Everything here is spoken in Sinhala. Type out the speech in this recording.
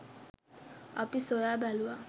අපි සොයා බැලුවා